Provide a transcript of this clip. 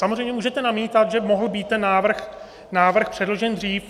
Samozřejmě můžete namítat, že mohl být ten návrh předložen dřív.